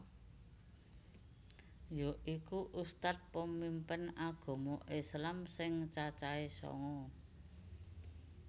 Yaiku ustadz pemimpin agama islam sing cacahe sanga